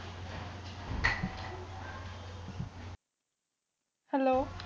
Hello